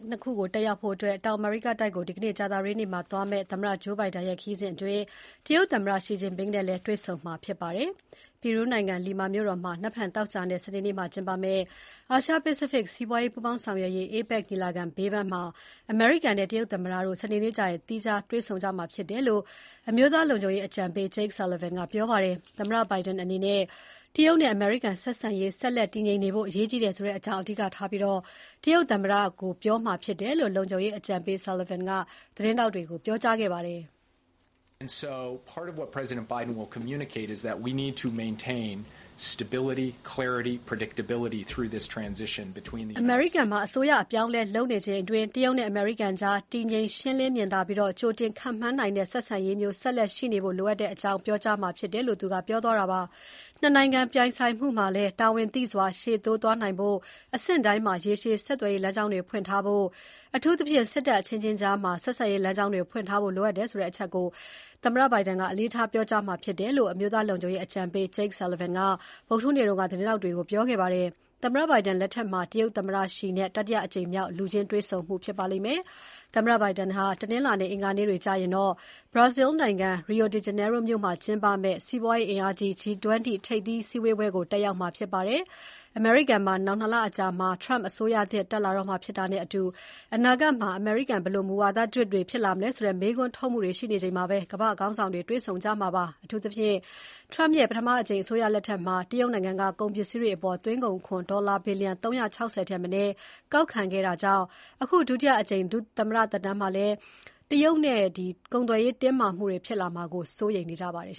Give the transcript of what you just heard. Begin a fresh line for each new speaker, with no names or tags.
နှစ်ခုတက်ရောက်ဖို့ ဒီနေ့ ကြာသပတေးနေ့ တောင်အမေရိကတိုက်ကိုသွားမယ့် သမ္မတ Joe Biden ရဲ့ခရီးစဉ်အတွင်း တရုတ်သမ္မတ Xi Jinping နဲ့လည်း တွေ့ဆုံမှာဖြစ်ပါတယ်။ ပီရူးနိုင်ငံ Lima မြို့တော်မှာ နက်ဖြန်သောကြာနဲ့ စနေနေ့မှာကျင်းပမယ့် အာရှ-ပစိဖိတ် စီးပွားရေး ပူးပေါင်းဆောင်ရွက်ရေး APEC ညီလာခံဘေးပန်းမှာ အမေရိကန်နဲ့တရုတ်သမ္မတတို့ စနေနေ့ကျရင် တွေ့ဆုံမှာဖြစ်တယ်လို့ အမျိုးသားလုံခြုံရေးအကြံပေး Jake Sullivan ကပြောပါတယ်။ သမ္မတ Biden အနေနဲ့ တရုတ်နဲ့အမေရိကန်ဆက်ဆံရေး ဆက်လက်တည်ငြိမ်နေဖို့ အရေးကြီးကြောင်း အဓိကထားပြီးတရုတ်သမ္မတကို ပြောမှာဖြစ်တယ်လို့ လုံခြုံရေးအကြံပေး Sullivan က သတင်းထောက်တွေကို ပြောခဲ့ပါတယ်။ ‘အမေရိကန်မှာ အစိုးရအပြောင်းအလဲလုပ်နေချိန်အတွင်း တရုတ်နဲ့အမေရိကန်ကြား တည်ငြိမ်၊ ရှင်းလင်းမြင်သာပြီးကြိုတင်ခန့်မှန်းနိုင်တဲ့ ဆက်ဆံရေးမျိုး ဆက်လက်ရှိနေဖို့ လိုအပ်ကြောင်း ပြောမှာ ဖြစ်တယ်’ လို့ ပြောသွားတာပါ။ ၂နိုင်ငံပြိုင်ဆိုင်မှုမှာလည်း တာဝန်သိစွာရှေ့တိုးသွားနိုင်ဖို့ အဆင့်တိုင်း မှာ ရေရှည်ဆက်သွယ်ရေးလမ်းကြောင်းတွေ ဖွင့်ထားဖို့၊ အထူးသဖြင့် စစ်တပ်အချင်းချင်းကြားမှာ ဆက်ဆံရေးလမ်းကြောင်းတွေ ဖွင့်ထားဖို့ လိုအပ်တယ်ဆိုတဲ့ အချက်ကို အလေးထားပြောကြားမှာ ဖြစ်တယ်လို့ အမျိုးသားလုံခြုံရေးအကြံပေး Jake Sullivan က ဗုဒ္ဓဟူးနေ့တုန်းကသတင်းထောက်တွေ ကို ပြောခဲ့ပါတယ်။ သမ္မတ Biden လက်ထက်မှာ တရုတ်သမ္မတ Xi နဲ့ တတိယအကြိမ်မြောက် လူချင်းတွေ့ဆုံမှုဖြစ်ပါလိမ့်မယ်။ သမ္မတ Biden ဟာ တနင်္လာနဲ့ အင်္ဂါနေ့တွေကျရင်တော့ Brazil နိုင်ငံ Rio de Janeiro မြို့မှာကျင်းပမယ့် စီးပွားရေးအင်အားကြီး G20 ထိပ်သီး စည်းဝေးပွဲကို တက်ရောက်မှာဖြစ်ပါတယ်။ အမေရိကန်မှာ နောင် ၂ လအကြာမှာ Trump အစိုးရသစ်တက်လာတော့မှာဖြစ်တာနဲ့အတူ အနာဂတ်မှာ ဘယ်လို မူဝါဒသစ်တွေ ဖြစ်လာမလဲဆိုတဲ့ မေးခွန်းထုတ်မှုတွေ ရှိနေချိန်မှာ ကမ္ဘာ့ခေါင်းဆောင်တွေ တွေ့ဆုံကြမှာ ဖြစ်ပါတယ်။ အထူးသဖြင့် Trump ရဲ့ ပထမအကြိမ် အစိုးရလက်ထက်က တရုတ်နိုင်ငံက ကုန်ပစ္စည်းတွေအပေါ် သွင်းကုန်ခွန်ဒေါ်လာ ဘီလျံ ၃၆၀ ထက်မနည်းကောက်ခံခဲ့တာကြောင့် အခု ဒုတိအကြိမ် သမ္မတသက်တမ်းမှာလည်း တရုတ်နဲ့ ကုန်သွယ်ရေးတင်းမာမှုတွေ ဖြစ်လာမှာကို စိုးရိမ်နေကြပါတယ်